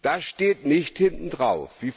Das steht nicht hinten drauf.